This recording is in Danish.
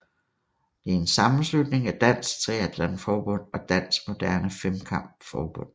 Det er en sammenslutning af Dansk Triathlon Forbund og Dansk Moderne Femkamp Forbund